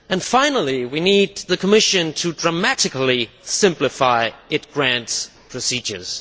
Finally, we need the Commission to dramatically simplify its grant procedures.